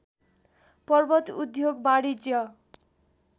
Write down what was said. पर्वत उद्योग वाणिज्य